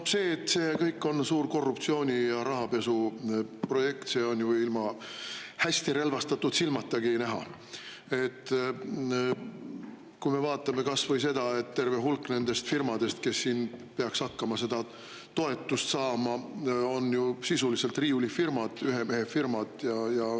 No see, et see kõik on suur korruptsiooni- ja rahapesuprojekt, on ju ilma hästi relvastatud silmatagi näha, kui me vaatame kas või seda, et terve hulk nendest firmadest, kes siin peaks hakkama seda toetust saama, on ju sisuliselt riiulifirmad, ühemehefirmad.